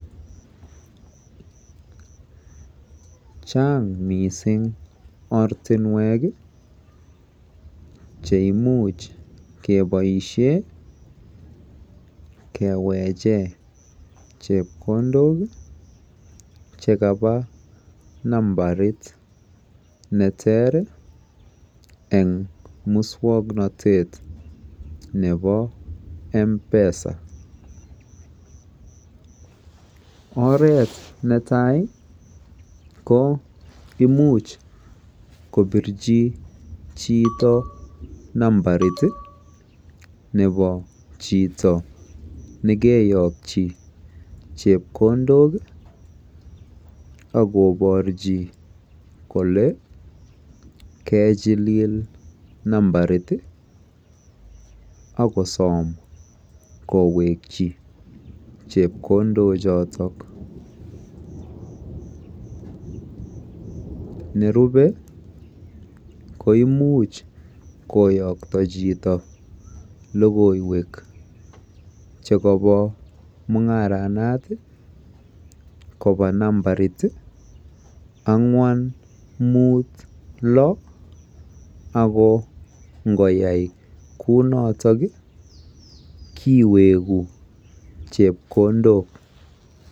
Chaang mising ortinwek cheimuch keboisie keweche chepkondok chekaba nambarit neteer eng muswoknotet nebo Mpesa. Oret netai ko imuch kobirji chito Nambarit nebo chito nekeyokchi chepkondok akoborchi kole kejilil nambarit akosoom koweekyi chepkondochoto. Nerubei koimuch koyokto chito logoywek chekobo mung'aranoto kowo nambarit ang'wan muut lo ako ngoyai kounoto kiweeku chepkondok.